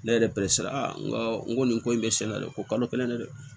Ne yɛrɛ pere sera n ko n ko nin ko in bɛ siɲɛ de kolo kelen de dɛ